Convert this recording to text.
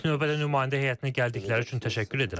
İlk növbədə nümayəndə heyətinə gəldikləri üçün təşəkkür edirəm.